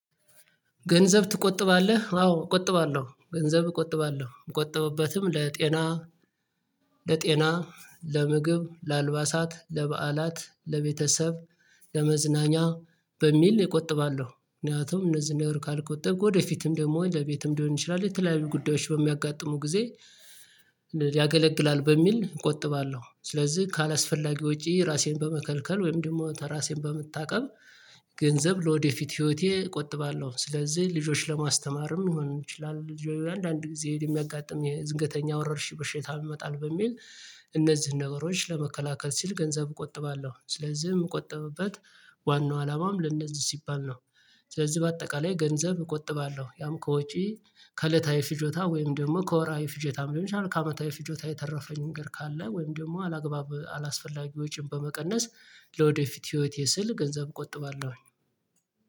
ገንዘብ ትቆጥባለህ አዎ እቆጥባለሁ ገንዘብ እቆጥባለሁ ምቆጠበበትም ለጤና ለጤና ለምግብ ለአልባሳት ለበዓላት ለቤተሰብ ለመዝናኛ በሚል እቆጥባለሁ። ምክንያቱም እነዚህን ያወርኩ ካልቆጠግኩ ወደፊትም ደግሞ ለቤትም ሊሆን ይችላል የተለያዩ ጉዳዮች በሚያጋጥሙ ጊዜ ያገለግላል በሚል እቆጥባለሁ። ስለዚህ ካላስፈላጊ ውጪ ራሴን በመከልከል ወይም ደግሞ ተራሴን በምታውቀብ ገንዘብ ለወደፊት ህይወቴ እቆጥባለሁ። ስለዚህ ልጆችን ለማስተማርም ሊሆን ይችላል ልጆች አንድ አንድ ጊዜ የሚያጋጥም የድንተኛ ወረርሽ በሽታ ይመጣል በሚል እነዚህን ነገሮች ለመከላከል ሲል ገንዘብ እቆጥባለሁ። ስለዚህ የምቆጠብበት ዋናው አላማም ለእንደዚህ ሲባል ነው። ስለዚህ በአጠቃላይ ገንዘብ እቆጥባለሁ። ያም ከውጪ ከእለታዊ ፍጆታ ወይም ደግሞ ከወራዊ ፍጆታም ደግሞ ከአመታዊ ፍጆታ የተረፈኝ ንገር ካለ ወይም ደግሞ አላግባብ አላስፈላጊ ወጪን በመቀነስ ለወደፊት ህይወቴ ስል ገንዘብ እቆጥባለሁ